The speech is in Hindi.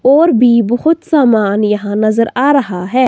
और भी बहुत सामान यहां नज़र आ रहा है।